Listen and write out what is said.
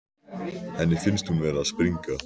Henni finnst hún vera að springa.